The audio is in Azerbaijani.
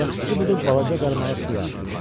Yaxşısı budur, balaca qaramağı suya atım.